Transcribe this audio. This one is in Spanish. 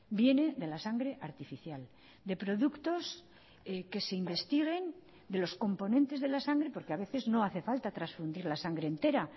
viene de la sangre artificial de productos que se investiguen de los componentes de la sangre porque a veces no hace falta transfundir la sangre entera